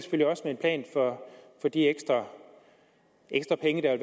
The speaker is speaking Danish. plan for de ekstra penge der